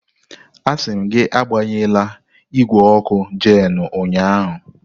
Asị m gị agbanyela igwe ọkụ Jenu ụnyahụ!